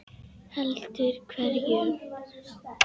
Heldur hverjum þá?